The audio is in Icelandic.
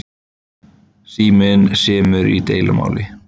Síminn semur í deilumáli